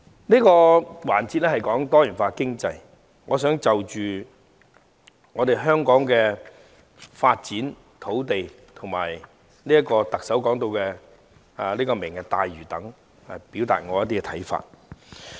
這個環節的主題是"多元經濟"，我想就香港的土地發展和特首提出的"明日大嶼"等表達一些看法。